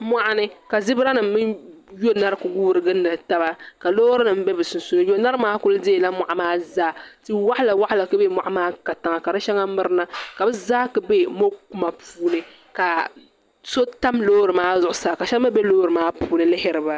Moɣuni ka zibira nima mini yoniɣi kuli guuri gindi taba ka loori nima be bɛ sunsuuni yonari maa kuli deela moɣu maa zaa ti'waɣala waɣala kuli be moɣu maa katiŋa ka di sheŋa mirina ka bɛ zaa kuli be mokuma puuni ka so tam loori maa zuɣusaa ka sheba mee be loori maa puuni lihiri ba.